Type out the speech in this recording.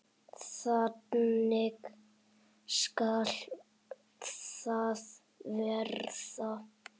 Þannig skal það verða.